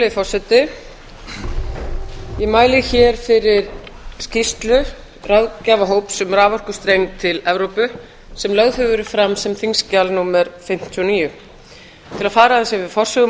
virðulegi forseti ég mæli fyrir skýrslu ráðgjafarhóps um raforkustreng til evrópu sem lögð hefur verið fram sem þingskjal fimmtíu og níu til að fara aðeins yfir forsögu